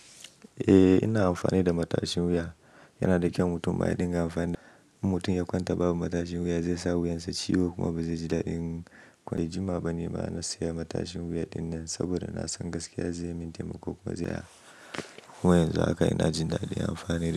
Eh ina amfani da matashin wuya, yana da kyau mutum ma ya dinga amfani da. In mutum ya kwanta babu matashin wuya zai sa wuyansa ciwo kuma ba zai ji dadi ba. Kwai jima bane ba gaskiya matashin wuya dinnan saboda na san gaskiya zai min taimako kuma zai am ko yanzu haka ina jin dadi ina amfani da.